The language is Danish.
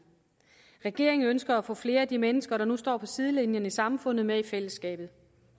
regeringen ønsker at få flere af de mennesker der nu står på sidelinjen i samfundet med i fællesskabet